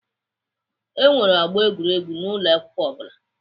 E nwere ọgbọ egwuregwu n'ụlọ akwụkwọ ọ bụla.